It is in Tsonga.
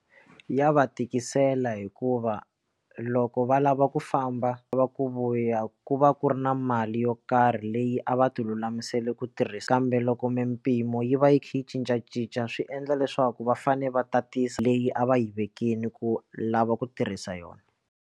Ya va tikisela hikuva loko va lava ku famba va ku vuya ku va ku ri na mali yo karhi leyi a va ti lulamisela ku tirhisa kambe loko mimpimo yi va yi kha yi cincacinca swi endla leswaku va fane va tatisa leyi a va yi vekile ku lava ku tirhisa yona.